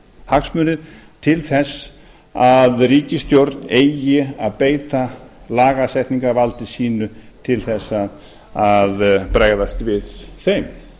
hagsmunir til þess að ríkisstjórn eigi að beita lagasetningarvaldi sínu til þess að bregðast við þeim